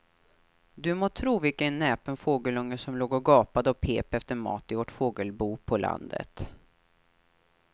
Du må tro vilken näpen fågelunge som låg och gapade och pep efter mat i vårt fågelbo på landet.